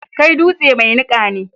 Kai dutse mai niƙa ne.